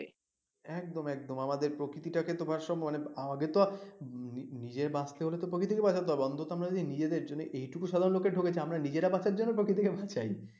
একদম একদম আমাদের প্রকৃতি টা কে তো ভারসাম্য আমাদের তো নিজে বাঁচতে হলে তো প্রকৃতিকেও বাঁচাতে হবে অন্তত আমাদের নিজেদের জন্য এইটুকু সাধারণ লোকে ঠকেছে আমরা নিজেরা বাঁচার জন্য প্রকৃতিকে